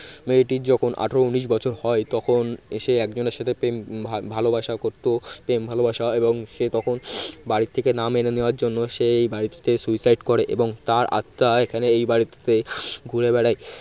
মেয়েটি যখন আঠারো উনিশ বছর হয় তখন সে একজনের সাথে প্রেম ভা ভালবাসা করত প্রেম ভালোবাসা এবং সে তখন বাড়ির থেকে না মেনে নেওয়ার জন্য সে এই বাড়িটিতে suicide করে তার আত্মা এখানে এই বাড়িটিতে ঘুরে বেড়ায়